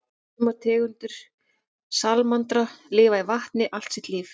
Sumar tegundir salamandra lifa í vatni allt sitt líf.